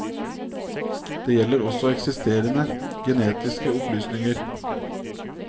Det gjelder også eksisterende genetiske opplysninger.